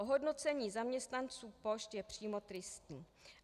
Ohodnocení zaměstnanců pošt je přímo tristní.